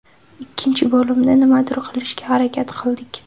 Ikkinchi bo‘limda nimadir qilishga harakat qildik.